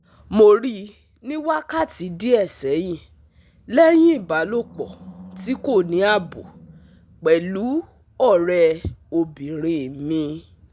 Mo ri ni wakati die sehin lehin ibalopo ti ko ni abo pelu ore obinrin mi